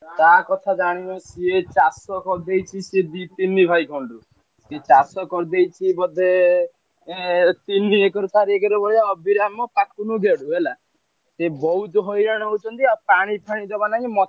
ତା କଥା ଜାଣିନ ସିଏ ଚାଷ କରିଦେଇଛି ସିଏ ଦି ତିନି ଭାଇ ଖଣ୍ଡେ। ସେ ଚାଷ କରିଦେଇଛି ବୋଧେ ଏଁ ତିନି ଏକର ଚାରି ଏକର ଭଳିଆ ଅଭିରାମ, ପାକୁନୁ, ଗେଡୁ ହେଲା ସେ ବହୁତୁ ହଇରାଣ ହଉଛନ୍ତି ଆଉ ପାଣି ଫାଣି ଜମା ନାଇଁ ମତେ,